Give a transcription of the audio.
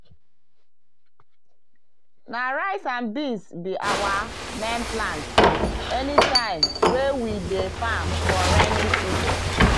na rice and beans be our main plant anytime wey we dey farm for raining season.